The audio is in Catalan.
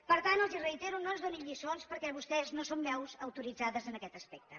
per tant els ho reitero no ens donin lliçons perquè vostès no són veus autoritzades en aquest aspecte